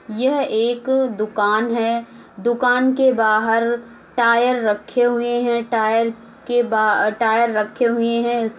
यह एक दुकान है। दुकान के बाहर टायर रखे हुए हैं। टायर के बा टायर रखे हुए हैं। इस --